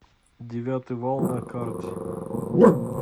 девятый вал на карте